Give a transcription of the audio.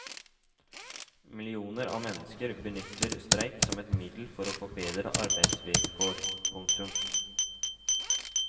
Millioner av mennesker benytter streik som et middel til å få bedre arbeidsvilkår. punktum